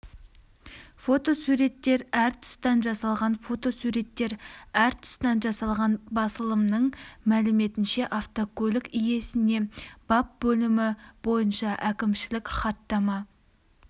фотосуреттер әр тұстан жасалған фотосуреттер әр тұстан жасалған басылымның мәліметінше автокөлік иесіне бап бөлімі бойыншаәкімшілік хаттама